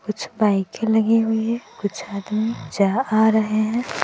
कुछ बाइके लगी हुई है कुछ आदमी जा आ रहे हैं।